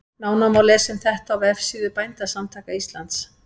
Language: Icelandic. Nánar má lesa um þetta á vefsíðu Bændasamtaka Íslands.